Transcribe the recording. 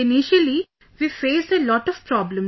Initially we faced a lot of problems